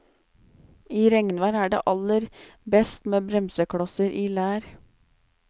I regnvær er det aller best med bremseklosser i lær.